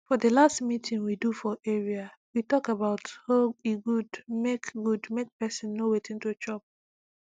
for the last meeting we do for area we talk about hoe e good make good make person know wetin to chop